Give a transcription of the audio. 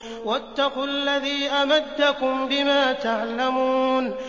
وَاتَّقُوا الَّذِي أَمَدَّكُم بِمَا تَعْلَمُونَ